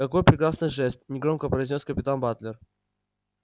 какой прекрасный жест негромко произнёс капитан батлер